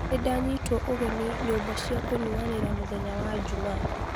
nĩndanyitĩtwo ũgeni nyũmba cia kũnyuanĩra mũthenya wa njuuma